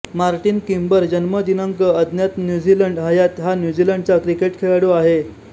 Martin Kimber जन्म दिनांक अज्ञातन्यूझीलंड हयात हा न्यूझीलंडचा क्रिकेट खेळाडू आहे